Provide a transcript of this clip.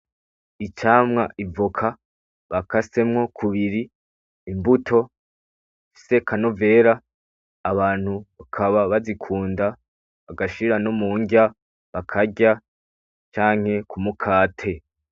Icamwa ivoka, bakasemwo kubiri. Imbuto zifise akanovera. Abantu bakaba bazikunda, bagashira no mu nrya bakarya canke kumukate.